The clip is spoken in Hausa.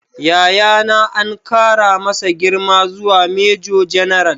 Yayana an kara masa girma zuwa Major General